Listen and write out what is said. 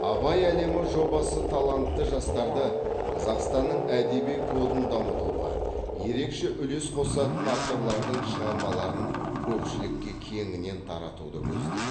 абай әлемі жобасы талантты жастарды қазақстанның әдеби кодын дамытуға ерекше үлес қосатын авторлардың шығармаларын көпшілікке кеңінен таратуды көздейді